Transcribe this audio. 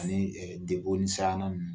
Ani debo ni sinan ninnu